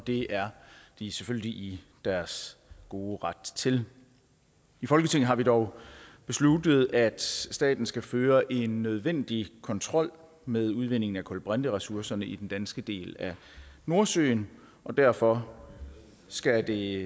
det er de selvfølgelig i deres gode ret til i folketinget har vi dog besluttet at staten skal føre en nødvendig kontrol med udvindingen af kulbrinteressourcerne i den danske del af nordsøen og derfor skal det